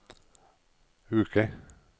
uke